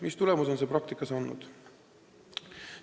Mis tulemust on see praktikas andnud?